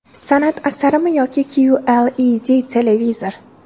San’at asarimi yoki QLED televizor?